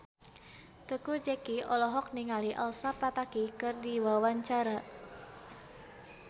Teuku Zacky olohok ningali Elsa Pataky keur diwawancara